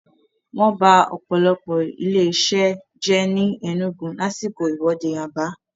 Wọ́n ba ọ̀pọ̀lọpọ̀ ilé-isẹ́ jẹ́ ni Enugu lásìkò ìwọ́de Aba.